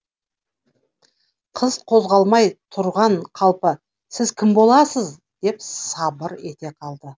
қыз қозғалмай тұрған қалпы сіз кім боласыз деп сабыр ете қалды